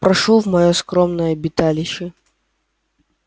прошу в моё скромное обиталище